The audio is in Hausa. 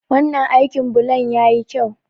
Wannan aikin bulon ya yi kyau.